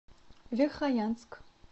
верхоянск